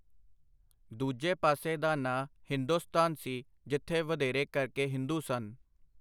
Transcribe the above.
ਦੂਜੇ ਪਾਸੇ ਦਾ ਨਾਂ ਹਿੰਦੁਸਤਾਨ ਸੀ ਜਿੱਥੇ ਵਧੇਰੇ ਕਰਕੇ ਹਿੰਦੂ ਸਨ.